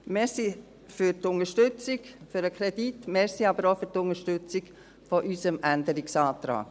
Vielen Dank für die Unterstützung des Kredits, danke aber auch für die Unterstützung unseres Änderungsantrags.